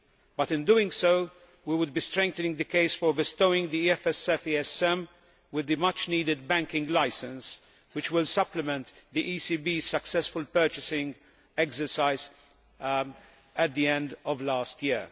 But in doing so we would be strengthening the case for bestowing the EFSF ESM with the much needed banking licence which will supplement the ECB's successful purchasing exercise at the end of last year.